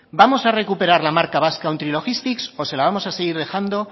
vamos a recuperar la marca basque country logistics o se la vamos a seguir dejando